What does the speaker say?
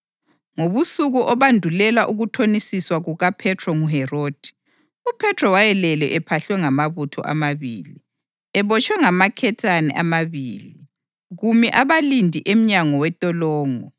Ngobusuku obandulela ukuthonisiswa kukaPhethro nguHerodi, uPhethro wayelele ephahlwe ngamabutho amabili, ebotshwe ngamaketane amabili, kumi abalindi emnyango wentolongo.